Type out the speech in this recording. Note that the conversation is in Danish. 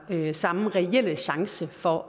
den samme reelle chance for